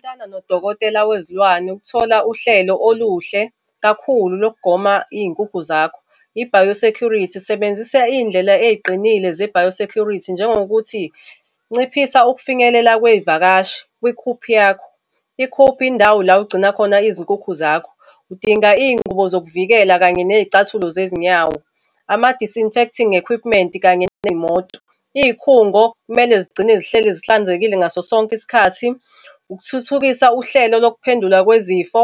Xhumana nodokotela wezilwane ukuthola uhlelo oluhle kakhulu lokugoma iy'nkukhu zakho. I-bio security, sebenzisa iy'ndlela ey'qinile ze-bio security, njengokuthi, nciphisa ukufinyelela kwey'vakashi kwi-coop yakho. I-coop indawo la ogcina khona izinkukhu zakho. Udinga iy'ngubo zokuvikela kanye ney'cathulo zezinyawo, ama-disinfecting equipment, kanye ney'moto. Iy'khungo kumele zigcine zihleli zihlanzekile ngaso sonke isikhathi. Ukuthuthukisa uhlelo lokuphendula kwezifo,